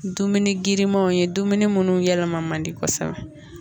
Dumuni girimanw ye dumuni munnu yɛlɛma mandi kosɛbɛ